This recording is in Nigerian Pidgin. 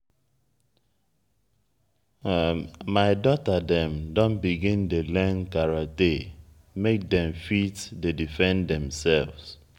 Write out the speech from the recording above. my dota dem don begin dey learn karate make dem fit dey defend demsef.